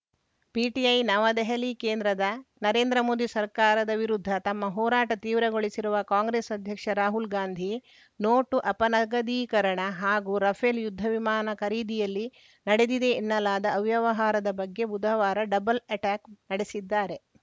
PTI ನವದೆಹಲಿ ಕೇಂದ್ರದ ನರೇಂದ್ರ ಮೋದಿ ಸರ್ಕಾರದ ವಿರುದ್ಧ ತಮ್ಮ ಹೋರಾಟ ತೀವ್ರಗೊಳಿಸಿರುವ ಕಾಂಗ್ರೆಸ್‌ ಅಧ್ಯಕ್ಷ ರಾಹುಲ್‌ ಗಾಂಧಿ ನೋಟು ಅಪನಗದೀಕರಣ ಹಾಗೂ ರಫೇಲ್‌ ಯುದ್ಧ ವಿಮಾನ ಖರೀದಿಯಲ್ಲಿ ನಡೆದಿದೆ ಎನ್ನಲಾದ ಅವ್ಯವಹಾರದ ಬಗ್ಗೆ ಬುಧವಾರ ಡಬಲ್‌ ಅಟ್ಯಾಕ್‌ ನಡೆಸಿದ್ದಾರೆ